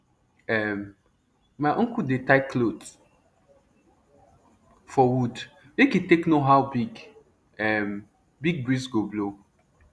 um my uncle dey tie cloth for wood make e take know how big um big breeze go blow